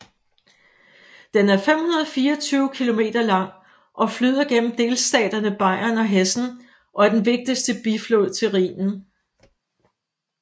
Den er 524 km lang og flyder gennem delstaterne Bayern og Hessen og er den vigtigste biflod til Rhinen